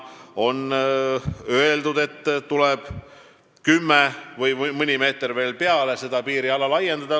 On öeldud, et 10 meetrit või mõni meeter veel peale tuleb piiriala laiendada.